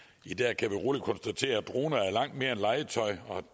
i dag kan vi roligt konstatere at droner er langt mere end legetøj